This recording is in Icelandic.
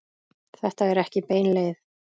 Þetta er ekki bein leið.